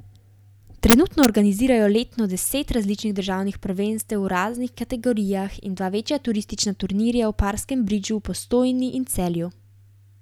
Trenutno organizirajo letno deset različnih državnih prvenstev v raznih kategorijah in dva večja turistična turnirja v parskem bridžu v Postojni in Celju.